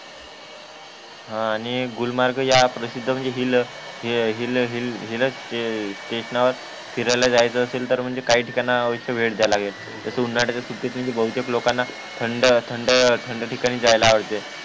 हा आणि गुलमर्ग म्हणजे प्रसिद्ध हिलहिल हिलस्टेशन नावर फिरायला जायचे असले तर काही ठिकाणी आवश्य वेळ द्यायाला लागेल तर उन्हाळ्याचा सुट्टीत म्हणजे बहुतेक लोकांना थंडथंड थंड ठिकाणी जायला पाहिजे